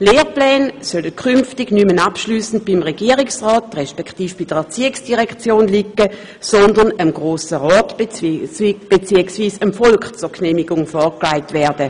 Lehrpläne sollen künftig nicht mehr abschliessend beim Regierungsrat bzw. bei der ERZ liegen, sondern dem Grossen Rat bzw. dem Volk zur Genehmigung vorgelegt werden.